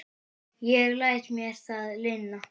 Ég læt mér það lynda.